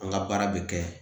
An ka baara bɛ kɛ